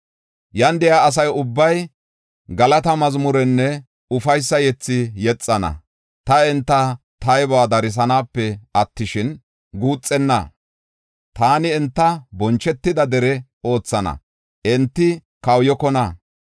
Yan de7iya asa ubbay galata mazmurenne ufaysa yethi yexana. Ta enta taybuwa darisanape attishin, guuxenna. Taani enta bonchetida dere oothana; enti kawuyokona.